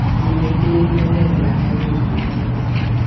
e nwelella ka nyollo e